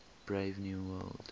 brave new world